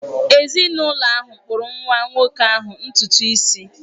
Ezinụlọ ahụ kpụrụ nwa nwoke ahụ ntutu isi